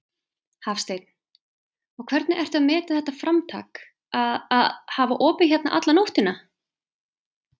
Hafsteinn: Og hvernig ertu að meta þetta framtak að, að hafa opið hérna alla nóttina?